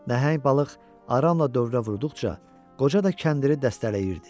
Nəhəng balıq aramla dövrə vurduqca, qoca da kəndiri dəstələyirdi.